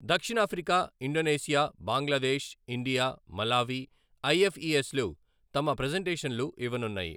దక్షిణాఫ్రికా, Indonesia, Bangladesh, India, Malawi, ఐఎఫ్ఈఎస్‌లు తమ ప్రెజంటేషన్లు ఇవ్వనున్నాయి.